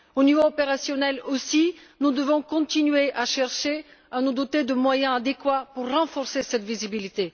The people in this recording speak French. Au niveau opérationnel aussi, nous devons continuer de chercher à nous doter de moyens adéquats pour renforcer cette visibilité.